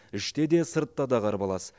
іште де сыртта да қарбалас